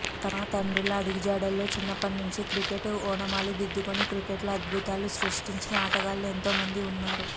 తమ తండ్రుల అడుగుజాడల్లో చిన్నప్పటి నుంచే క్రికెట్ ఓనమాలు దిద్దుకుని క్రికెట్లో అద్భుతాలు సృష్టించిన ఆటగాళ్లు ఎంతో మంది ఉన్నారు